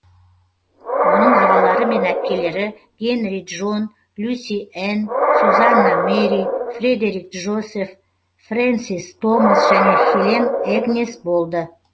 оның ағалары мен әпкелері генри джон люси энн сюзанна мэри фредерик джозеф фрэнсис томас және хелен эгнес болды